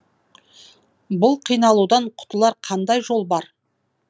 бұл қиналудан құтылар қандай жол бар